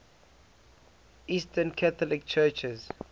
eastern catholic churches